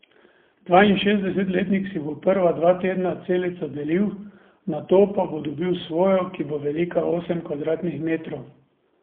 Dvainšestdesetletnik si bo prva dva tedna celico delil, nato pa bo dobil svojo, ki bo velika osem kvadratnih metrov.